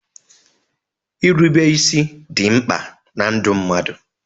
Irube isi dị mkpa na ndụ mmadụ.